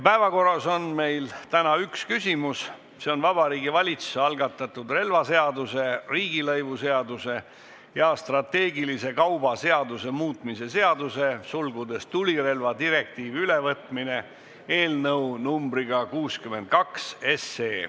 Päevakorras on meil täna üks küsimus, see on Vabariigi Valitsuse algatatud relvaseaduse, riigilõivuseaduse ja strateegilise kauba seaduse muutmise seaduse eelnõu 62.